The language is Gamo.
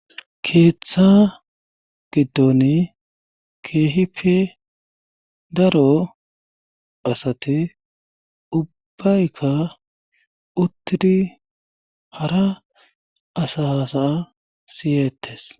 keeththa giddon keehipe daro asati ubbaykka uttidi hara asasa siyeettes